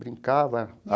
Brincava.